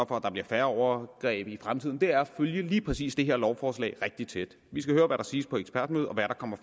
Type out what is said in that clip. for at der bliver færre overgreb i fremtiden er at følge lige præcis det her lovforslag rigtig tæt vi skal høre hvad der siges på ekspertmødet og hvad der kommer